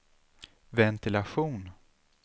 ventilation